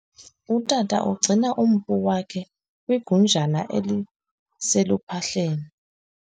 Utata ugcina umpu wakhe kwigunjana eliseluphahleni.